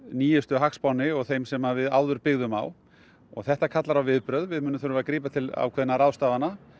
nýjustu hagspánni og þeim sem við áður byggðum á og þetta kallar á viðbrögð við munum þurfa að grípa til ákveðinna ráðstafana